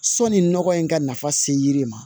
Sɔni nɔgɔ in ka nafa se yiri ma